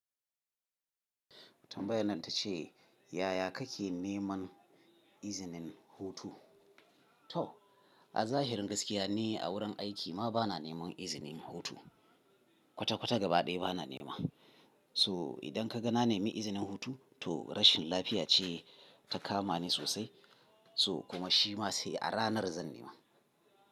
Tambayan nan ta ce yaya kake neman izinin hutu? To a zahirin gaskiya ni a wurin aiki ma bana neman izinin hutu. Kwata kwata gaba ɗaya bana nema. So idan ka ga na nemi izinin hutu to rashin lafiya ce ta kama ni sosai. So kuma shi ma sai a ranar zan nema.